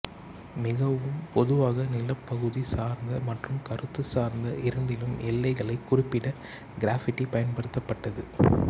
மிகவும் பொதுவாக நிலப்பகுதி சார்ந்த மற்றும் கருத்து சார்ந்த இரண்டிலும் எல்லைகளைக் குறிப்பிட கிராஃபிட்டி பயன்படுத்தப்பட்டது